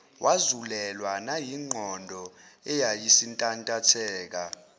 wazulelwa nayingqondo eyayisintantatheka